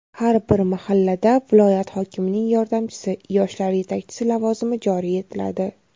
har bir mahallada viloyat hokimining yordamchisi — yoshlar yetakchisi lavozimi joriy etiladi.